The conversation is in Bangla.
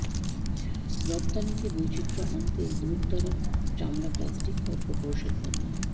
রপ্তানিতে বৈচিত্র্য আনতে গুরুত্বারোপ চামড়া প্লাস্টিক ও প্রকৌশল পণ্যে